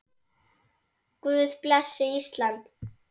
Guð blessi Ísland.